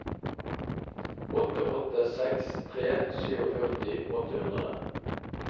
åtte åtte seks tre førtisju åtte hundre